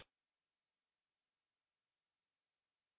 अतः आप यहाँ टाइप कर सकते हैं और हम अपने अक्षर की लम्बाई की जाँच जारी रख सकते हैं